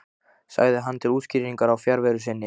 sagði hann til útskýringar á fjarveru sinni.